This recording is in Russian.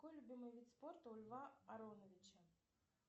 какой любимый вид спорта у льва ароновича